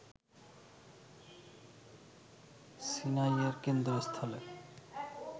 সিনাইয়ের কেন্দ্রস্থলে